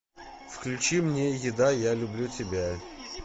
включи мне еда я люблю тебя